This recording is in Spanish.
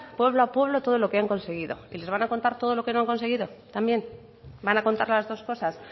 pueblo a pueblo todo lo que han conseguido y les van a contar todo lo que no han conseguido también van a contar las dos cosas